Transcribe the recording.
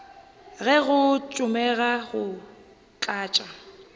ge go tsomega go tlatša